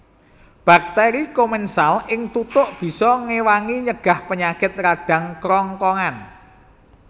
Bakteri komensal ing tutuk bisa ngewangi nyegah penyakit radang krongkongan